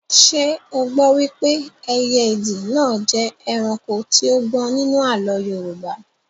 Ṣé o gbọ wípé ẹyẹ ìdì náà jẹ́ ẹranko tí ó gbọ́n nínú àlọ́ Yorùbá?